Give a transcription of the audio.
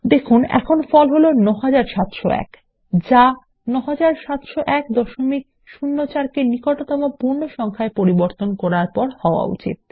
দেখুন আপনার ফল বর্তমানে ৯৭০১ যা ৯৭০১০৪ -কে নিকটতম পূর্ণ সংখ্যায পরিবর্তন করলে হওয়া উচিত